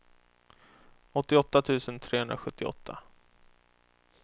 åttioåtta tusen trehundrasjuttioåtta